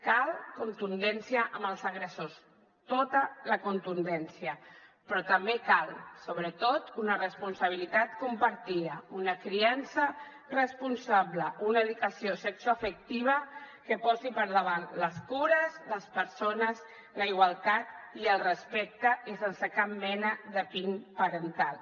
cal contundència amb els agressors tota la contundència però també cal sobretot una responsabilitat compartida una criança responsable una dedicació sexoafectiva que posi per davant les cures les persones la igualtat i el respecte i sense cap mena de pin parental